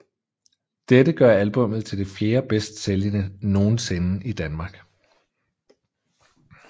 Dette gør albummet til det fjerde bedst sælgende nogensinde i Danmark